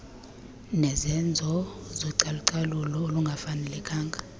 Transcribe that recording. nezenzo zocalucalulo olungafanelekanga